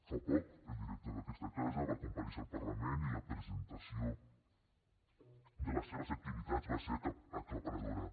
fa poc el director d’aquesta casa va comparèixer al parlament i la presentació de les seves activitats va ser aclaparadora